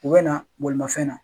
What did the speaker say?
U be na bolimafɛn na.